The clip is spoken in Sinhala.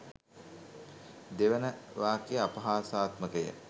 දෙවන වක්‍යය අපහාසාත්මකය